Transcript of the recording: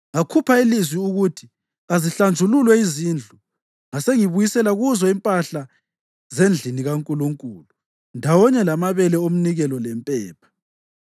Ngakhupha ilizwi ukuthi kazihlanjululwe izindlu, ngasengibuyisela kuzo impahla zendlini kaNkulunkulu, ndawonye lamabele omnikelo lempepha.